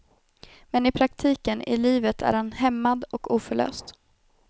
Men i praktiken, i livet är han hämmad och oförlöst.